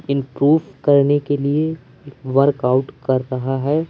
Improve करने के लिए वर्क आउट कर रहा है।